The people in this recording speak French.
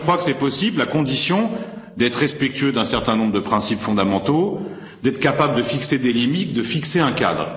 Je crois que c'est possible, à condition d'être respectueux d'un certain nombre de principes fondamentaux, d'être capable de fixer des limites et de fixer un cadre.